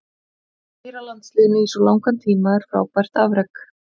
Að stýra landsliðinu í svo langan tíma er frábært afrek.